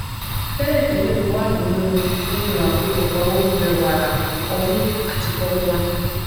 tẹlẹtẹlẹ lo wà nínú nínú àkójọpọ oúnjẹ wàrà ọmú àti formula